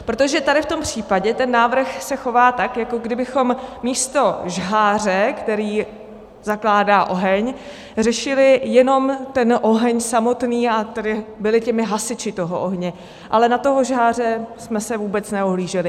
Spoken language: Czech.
Protože tady v tom případě ten návrh se chová tak, jako kdybychom místo žháře, který zakládá oheň, řešili jenom ten oheň samotný, a tedy byli hasiči toho ohně, ale na toho žháře jsme se vůbec neohlíželi.